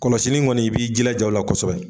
Kɔlɔsili in kɔni i b'i jilaja o la kosɛbɛ